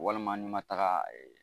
Walima n'i ma taga